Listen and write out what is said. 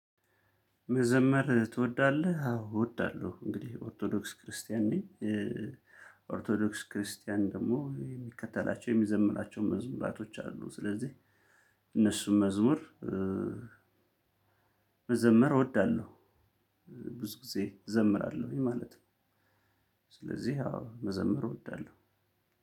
መዘመር ትወዳለህ? አዎ እወዳለሁ እንግዲህ ኦርቶዶክስ ክርስቲያን ነኝ። ኦርቶዶክስ ክርስቲያን ደግሞ የሚከተላቸው የሚዘምራቸው መዝሙራቶች አሉ። ስለዚህ እነሱም መዝሙር መዘመር እወዳለሁ። ብዙ ጊዜ እዘምራለሁኝ ማለት ነው። ስለዚህ አዎ መዘመር እወዳለሁ።